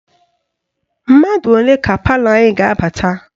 Mmadụ ole ka palọ anyị ga-abata?